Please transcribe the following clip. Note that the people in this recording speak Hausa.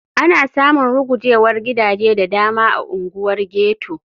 Ana samun rugujewar gidaje da dama a unguwar ghetto.